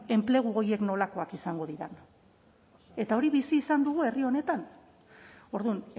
enplegu horiek nolakoak izango diren eta hori bizi izan dugu herri honetan orduan